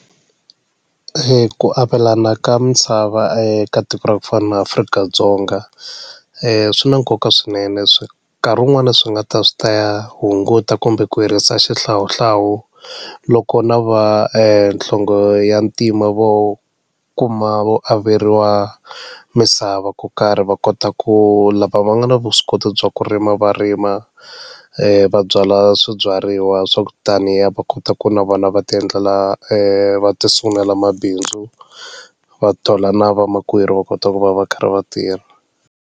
Ku avelana ka misava eka tiko ra ku fana na Afrika-Dzonga swi na nkoka swinene swi nkarhi wun'wani swi nga ta swi ta ya hunguta kumbe ku herisa xihlawuhlawu loko na va ka nhlonge ya ntima vo kuma vo averiwa misava ku karhi va kota ku lava va nga na vuswikoti bya ku rima va rima va byala swibyariwa swa ku taniya va kota ku na vona va ti endlela ti sungulela mabindzu va thola na vamakwerhu va kota ku va va karhi va tirha.